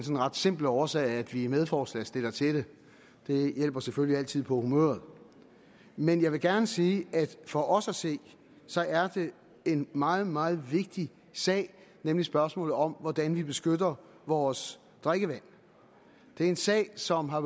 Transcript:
simple årsag at vi er medforslagsstillere til det det hjælper selvfølgelig altid på humøret men jeg vil gerne sige at det for os at se er en meget meget vigtig sag nemlig spørgsmålet om hvordan vi beskytter vores drikkevand det er en sag som har